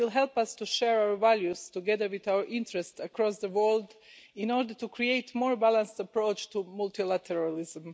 It will help us to share our values, together with our interests across the world, in order to create a more balanced approach to multilateralism.